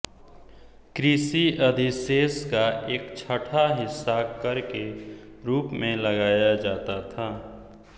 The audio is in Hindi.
कृषि अधिशेष का एकछठा हिस्सा कर के रूप में लगाया जाता था